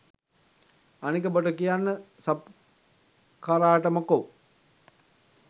අනික බොට කියන්න සබ් කරාට මොකෝ